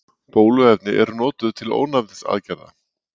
Bóluefni eru notuð til ónæmisaðgerða.